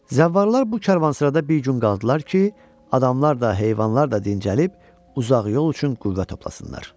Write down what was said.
Zəvvallar bu karvansarayda bir gün qaldılar ki, adamlar da, heyvanlar da dincəlib uzaq yol üçün qüvvə toplasınlar.